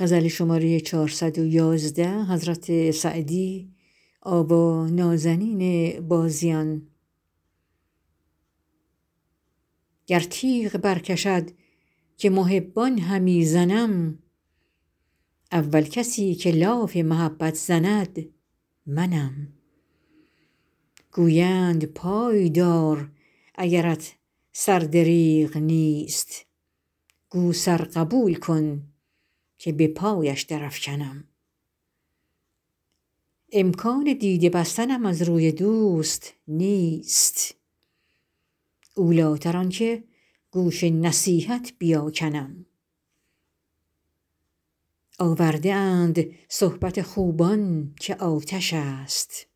گر تیغ برکشد که محبان همی زنم اول کسی که لاف محبت زند منم گویند پای دار اگرت سر دریغ نیست گو سر قبول کن که به پایش درافکنم امکان دیده بستنم از روی دوست نیست اولیتر آن که گوش نصیحت بیاکنم آورده اند صحبت خوبان که آتش است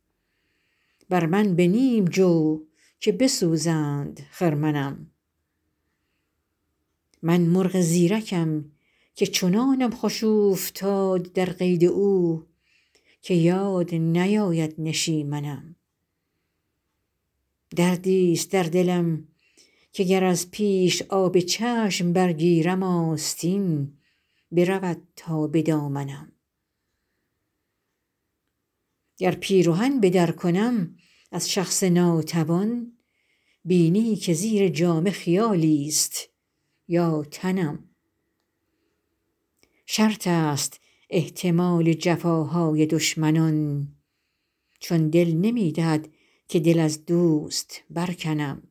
بر من به نیم جو که بسوزند خرمنم من مرغ زیرکم که چنانم خوش اوفتاد در قید او که یاد نیاید نشیمنم دردیست در دلم که گر از پیش آب چشم برگیرم آستین برود تا به دامنم گر پیرهن به در کنم از شخص ناتوان بینی که زیر جامه خیالیست یا تنم شرط است احتمال جفاهای دشمنان چون دل نمی دهد که دل از دوست برکنم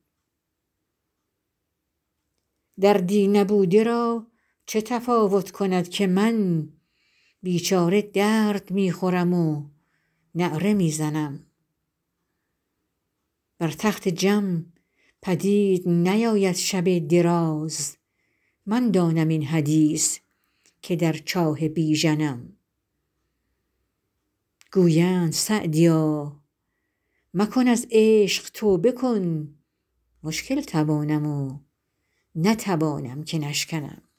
دردی نبوده را چه تفاوت کند که من بیچاره درد می خورم و نعره می زنم بر تخت جم پدید نیاید شب دراز من دانم این حدیث که در چاه بیژنم گویند سعدیا مکن از عشق توبه کن مشکل توانم و نتوانم که نشکنم